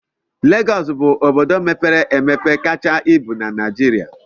Legọs bụ obodo mepere emepe kacha ibu na Naịjirịa